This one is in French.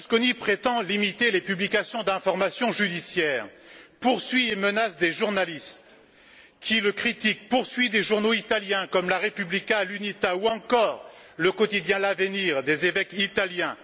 Berlusconi prétend limiter les publications d'informations judiciaires, poursuit et menace des journalistes qui le critiquent, poursuit des journaux italiens comme la Repubblica l' Unità ou encore le quotidien l 'Avenire des évêques italiens.